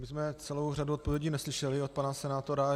My jsme celou řadu odpovědí neslyšeli od pana senátora.